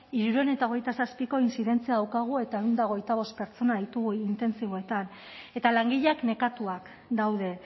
hirurehun eta hogeita zazpiko inzidentzia daukagu eta ehun eta hogeita bost pertsona ditugu intentsiboetan eta langileak nekatuak daude